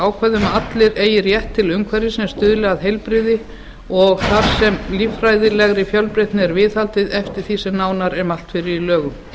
ákvæði um að allir eigi rétt til umhverfis sem stuðli að heilbrigði og þar sem líffræðilegri fjölbreytni er viðhaldið eftir því sem nánar er mælt fyrir í lögum